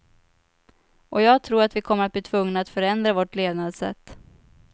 Och jag tror att vi kommer att bli tvungna att förändra vårt levnadssätt.